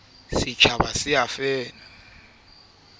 icd e ka laela ka